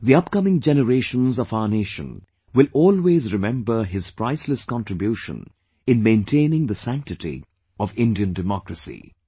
Theupcoming generations of our nation will always remember his priceless contribution in maintaining the sanctity of Indian democracy